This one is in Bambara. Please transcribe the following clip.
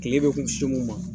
Kile bɛ kun min ma.